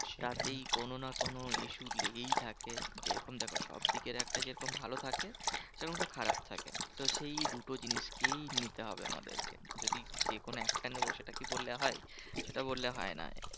টা তেই কোনো না কোনো issue লেগেই থাকে। যেরকম দেখো সবদিকের একটা যেরকম ভালো থাকে সেরম একটা খারাপ থাকে। তো সেই দুটো জিনিসকেই নিতে হবে আমাদেরকে। যদি যেকোনো একটা নেবো সেটা কি বললে হয়? সেটা বললে হয় না।